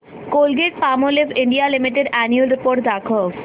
Colgate Palmolive India limited annual report दाखव